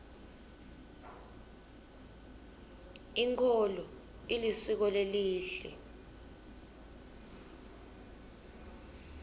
inkolo ilisiko lelihle